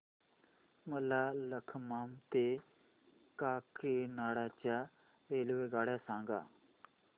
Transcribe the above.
मला खम्मम ते काकीनाडा च्या रेल्वेगाड्या सांगा